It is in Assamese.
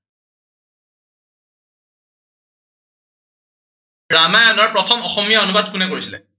ৰামায়নৰ প্ৰথম অসমীয়া অনুবাদ কোনে কৰিছিলে?